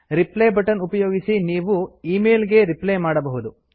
reply button ಉಪಯೋಗಿಸಿ ನೀವು ಈ ಮೇಲ್ ಗೆ ರಿಪ್ಲೈ ಮಾಡಬಹುದು